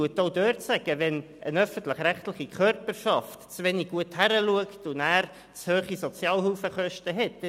Auch dort sagt man, dass eine öffentlich-rechtliche Körperschaft einen Malus bekommt, wenn sie zu wenig gut hinschaut und zu hohe Sozialhilfekosten hat.